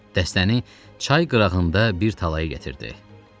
Dəstəni çay qırağında bir talaya gətirdi.